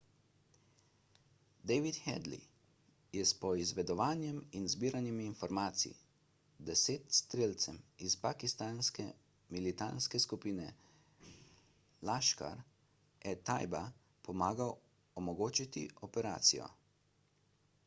david headly je s poizvedovanjem in zbiranjem informacij 10 strelcem iz pakistanske militantne skupine laskhar-e-taiba pomagal omogočiti operacijo